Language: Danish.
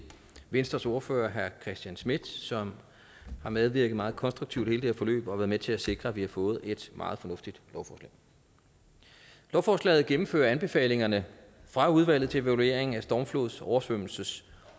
venstres ordfører herre christian schmidt som har medvirket meget konstruktivt i hele det her forløb og været med til at sikre at vi har fået et meget fornuftigt lovforslag lovforslaget gennemfører anbefalingerne fra udvalget til evaluering af stormflods oversvømmelses